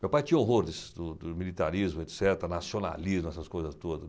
Meu pai tinha horrores do do militarismo, et cetera, nacionalismo, essas coisas todas.